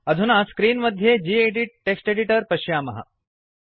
अधुना स्क्रीन् मध्ये gedit text editor पश्यामः